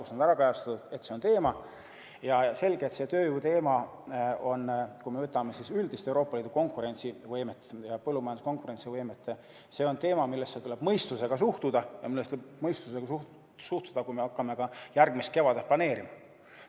Selge, et see tööjõuteema on – kui me vaatame üldist Euroopa Liidu konkurentsivõimet ja põllumajanduse konkurentsivõimet – teema, millesse tuleb mõistusega suhtuda ja millesse tuleb mõistusega suhtuda, kui me hakkame ka järgmist kevadet planeerima.